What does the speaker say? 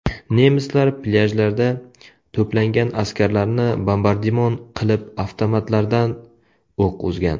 Nemislar plyajlarda to‘plangan askarlarni bombardimon qilib, avtomatlardan o‘q uzgan.